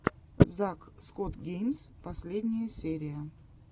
зак скотт геймс последняя серия